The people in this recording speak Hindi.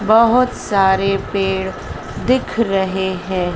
बहुत सारे पेड़ दिख रहे हैं।